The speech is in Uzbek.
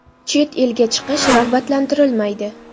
Chet elga chiqish rag‘batlantirilmaydi.